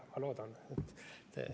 Aga ma loodan, et ...